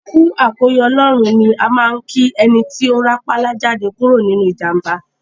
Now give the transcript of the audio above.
Kú àkóyọ Ọlọ́run ní á máa ń kí ẹni ti rápálá jáde kúrò nínú ìjàḿbá.